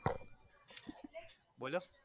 બોલો